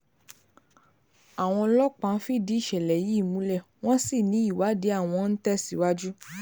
àwọn ọlọ́pàá fìdí ìṣẹ̀lẹ̀ yìí múlẹ̀ wọ́n sì ní ìwádìí àwọn ń tẹ̀síwájú